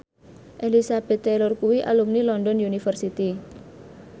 Elizabeth Taylor kuwi alumni London University